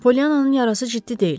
Poliannanın yarası ciddi deyil.